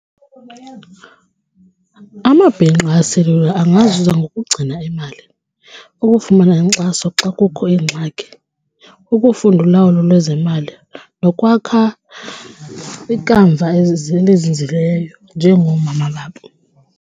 Amabhinqa aselula angazenza ngokugcina imali, ukufumana inkxaso xa kukho ingxaki, ukufunda ulawulo lwezemali nokwakha ikamva elizinzileyo njengomama babo.